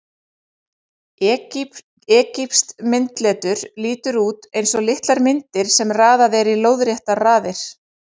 Egypskt myndletur lítur út eins og litlar myndir sem raðað er í lóðréttar raðir.